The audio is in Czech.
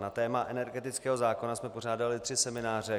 Na téma energetického zákona se pořádaly tři semináře.